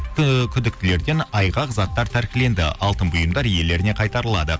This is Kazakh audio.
ііі күдіктілерден айғақ заттар тәркіленді алтын бұйымдар иелеріне қайтарылады